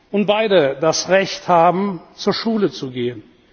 und beide das Recht haben, zur Schule zu gehen.